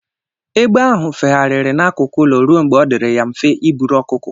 Egbe ahụ feghariri n'akụkụ ụlọ ruo mgbe ọ dịrị ya mfe ị buru ọkụkọ.